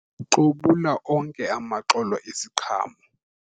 xobula onke amaxolo eziqhamo